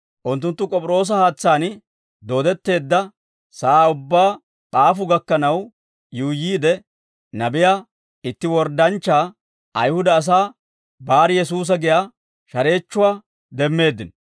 Unttunttu K'op'iroosa haatsaan dooddetteedda sa'aa ubbaa P'aafu gakkanaw yuuyyiide, nabiyaa itti worddanchchaa, Ayihuda asaa Bar-Yesuusa giyaa shareechchuwaa demmeeddino.